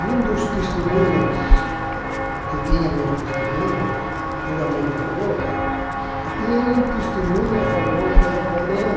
E um dos testemunhas, que tinha meus testemunhas, tudo a meu favor, tinha um testemunha a favor das